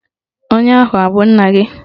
Onye ahụ abụ nna gị?